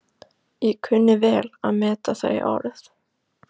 Ég kunni vel að meta þau orð.